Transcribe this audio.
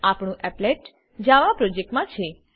આપણું applet Java project મા છે